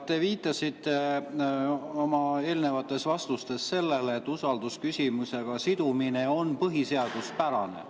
Te viitasite oma vastustes sellele, et usaldusküsimusega sidumine on põhiseaduspärane.